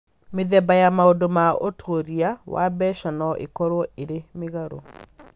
Mĩthemba ya maũndũ ma ũtuĩria wa mbeca no ĩkorũo ĩrĩ mĩgarũ.